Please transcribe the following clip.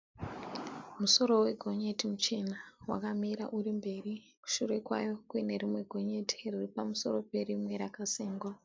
Musoro wegonyeti muchena wakamira uri mberi shure kwawo kuine rimwe gonyeti riri pamusoro perimwe rakasengwa.